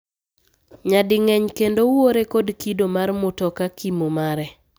Nyading'eny kendo uore kod kido mar mutoka kimo mare.